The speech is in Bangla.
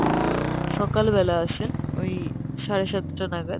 সকাল বেলায় আসেন ওই সাড়েসাতটা নাগাদ